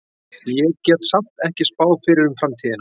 Ég get samt ekki spáð fyrir um framtíðina.